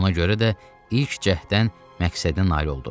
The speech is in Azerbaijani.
Ona görə də ilk cəhddən məqsədinə nail oldu.